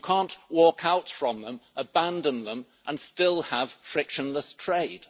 You cannot walk out from them, abandon them and still have frictionless trade.